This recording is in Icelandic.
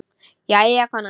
Jæja, kona.